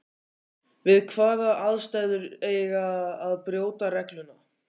Við hvaða aðstæður eig að brjóta regluna?